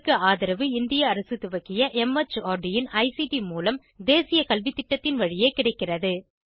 இதற்கு ஆதரவு இந்திய அரசு துவக்கிய மார்ட் இன் ஐசிடி மூலம் தேசிய கல்வித்திட்டத்தின் வழியே கிடைக்கிறது